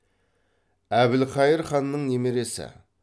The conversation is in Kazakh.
әбілқайыр ханның немересі